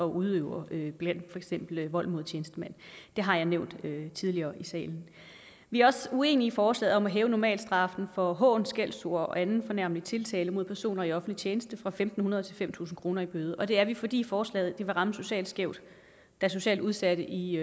udøver vold mod tjenestemand det har jeg nævnt tidligere i salen vi er også uenige i forslaget om at hæve normalstraffen for hån skældsord og anden fornærmende tiltale mod personer i offentlig tjeneste fra fem hundrede til fem tusind kroner i bøde og det er vi fordi forslaget vil ramme socialt skævt da socialt udsatte i